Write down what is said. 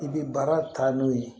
I bɛ baara taa n'o ye